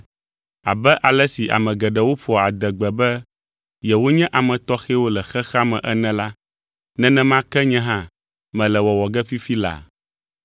Abe ale si ame geɖewo ƒoa adegbe be yewonye ame tɔxɛwo le xexea me ene la, nenema ke nye hã mele wɔwɔ ge fifi laa.